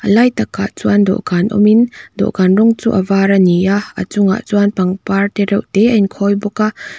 a lai takah chuan dawhkan awmin dawhkan rawng chu a var a ni a a chungah chuan pangpar tereuh te a in khawi bawk a.